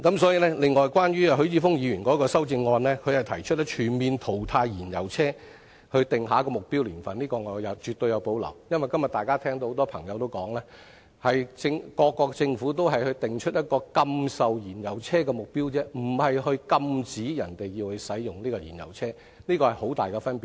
此外，關於許智峯議員的修正案，他提議就全面淘汰燃油車定下目標年份，這建議我絕對有所保留，因為大家今天也聽到很多朋友說，各國政府都只是訂定禁售燃油車的目標而已，而不是禁止人們使用燃油車，這是很大的分別。